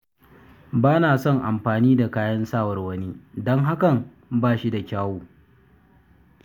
Ba na son amfani da kayan sawar wani, don hakan ba shi da kyau.